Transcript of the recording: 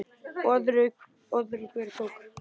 Öðru hvoru tók